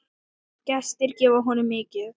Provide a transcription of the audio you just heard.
Gestir gefa honum mikið.